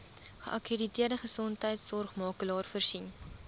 geakkrediteerde gesondheidsorgmakelaar voorsien